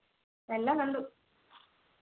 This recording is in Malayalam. എല്ലാം കണ്ടു